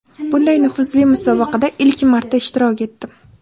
Bunday nufuzli musobaqada ilk marta ishtirok etdim.